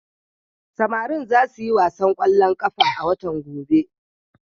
Samari za su yi wasan ƙwallon ƙafa a watan gobe.